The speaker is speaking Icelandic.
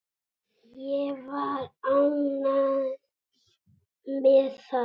Ég var ánægð með það.